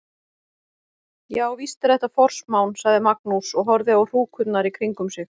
Já, víst er þetta forsmán, sagði Magnús og horfði á hrúkurnar í kringum sig.